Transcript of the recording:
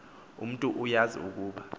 umntu uazi ukuba